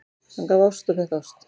Hann gaf ást og fékk ást.